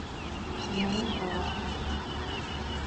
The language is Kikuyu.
Mworoto wa bata